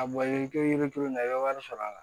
A bɔ cogo yiri turunna i bɛ wari sɔrɔ a la